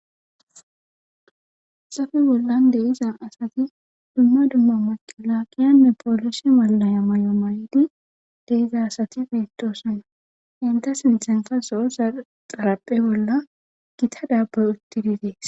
xafe bollan deiza asati dumma dumma maqilaaqiyanne poolishi malaya may7o mayidi deiza asati fiittoosanna inta sinthenka so7o saxaraphe bolla gita daabboy utti didees